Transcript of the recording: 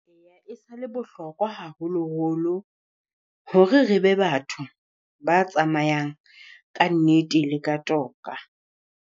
Eya e sa le bohlokwa haholoholo hore re be batho ba tsamayang ka nnete le ka toka.